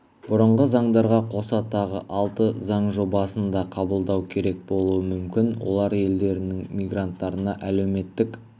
бұрынғы заңдарға қоса тағы алты заң жобасын да қабылдау керек болуы мүмкін олар елдерінің мигранттарына әлеуметтік